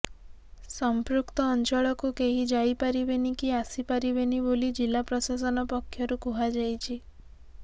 ସଂପୃକ୍ତ ଅଞ୍ଚଳକୁ କେହି ଯାଇ ପାରିବେନି କି ଆସି ପାରିବେନି ବୋଲି ଜିଲ୍ଲା ପ୍ରଶାସନ ପକ୍ଷରୁ କୁହାଯାଇଛି